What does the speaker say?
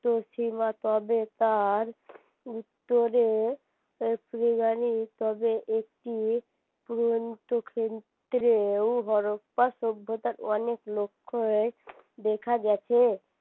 তবে তার উত্তরে তবে একটি ও শব্দটার অনেক লক্ষই দেখা গেছে